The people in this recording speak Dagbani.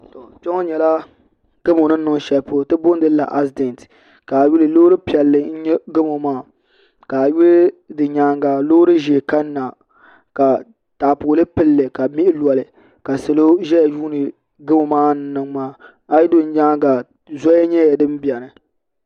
Kpɛ ŋɔ nyɛla gamo ni niŋ shɛli polo ti boondi lila asidɛnt ka a yuli loori piɛlli n nyɛ gamo maa ka a yuli di nyaanga loori ʒiɛ kanna ka taapooli pilli ka mihi loli ka salo ʒɛya yuundi gamo maa ni niŋ maa a yi yuli nyanga zoli nyɛla din biɛni